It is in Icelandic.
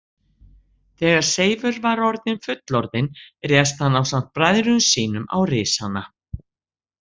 Þegar Seifur var orðinn fullorðinn réðst hann ásamt bræðrum sínum á risana.